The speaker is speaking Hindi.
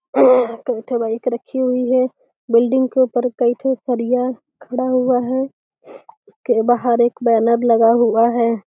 कई ठे बाइक रखी हुई है। बिल्डिंग के ऊपर कई ठे सरिया खड़ा हुआ है। इसके बाहर एक बैनेर लगा हुआ है।